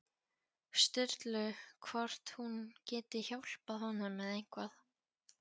Sturlu hvort hún geti hjálpað honum með eitthvað.